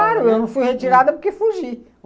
Claro, eu não fui retirada porque fugi.